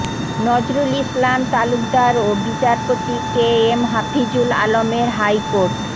নজরুল ইসলাম তালুকদার ও বিচারপতি K M Hafizul আলমের হাইকোর্ট